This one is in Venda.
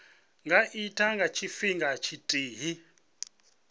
nga itwa nga tshifhinga tshithihi